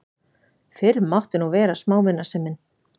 Fyrr mátti nú vera smámunasemin!